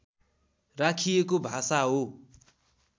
राखिएको भाषा हो